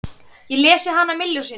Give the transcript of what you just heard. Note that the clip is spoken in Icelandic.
Ég lesið hana milljón sinnum.